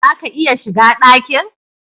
Zaka iya shiga dakin?